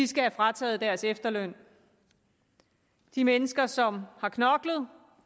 skal have frataget deres efterløn de mennesker som har knoklet